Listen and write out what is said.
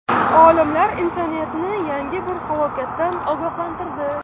Olimlar insoniyatni yangi bir falokatdan ogohlantirdi.